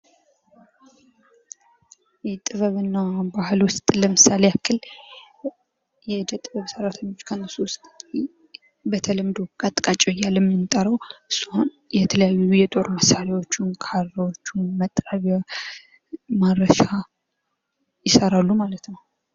የጥበብ እና ባህል ውስጥ ለምሳሌ ያክል የእደ ጥበብ ሰራተኞች ከእነሱ ውስጥ በተለምዶ ቀጥቃጭ እያልን የምንጠራው የተለያዩ የጦር መሳሪያዎቹን ካራዎቺን መጥረቢያ ማረሻ ይሰራሉ ማለት ነው።